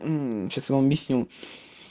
сейчас я вам объясню